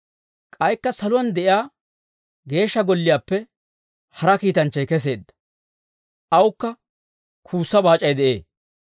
K'aykka saluwaan de'iyaa Geeshsha Golliyaappe hara kiitanchchay kesseedda; awukka kuussa baac'ay de'ee.